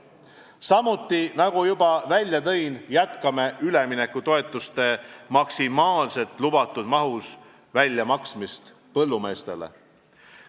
Samuti, nagu ma juba välja tõin, jätkame üleminekutoetuste maksimaalselt lubatud mahus väljamaksmist põllumeestele.